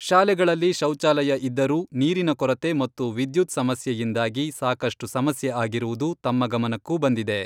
ಶಾಲೆಗಳಲ್ಲಿ ಶೌಚಾಲಯ ಇದ್ದರೂ ನೀರಿನ ಕೊರತೆ ಮತ್ತು ವಿದ್ಯುತ್ ಸಮಸ್ಯೆಯಿಂದಾಗಿ ಸಾಕಷ್ಟು ಸಮಸ್ಯೆ ಆಗಿರುವುದು ತಮ್ಮ ಗಮನಕ್ಕೂ ಬಂದಿದೆ.